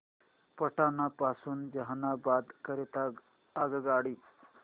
पटना पासून जहानाबाद करीता आगगाडी